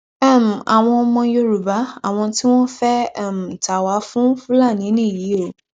um àwọn ọmọ yorùbá àwọn tí wọn fẹẹ um ta wà fún fúlàní nìyí o